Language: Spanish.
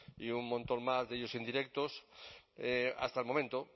y un montón más de ellos indirectos hasta el momento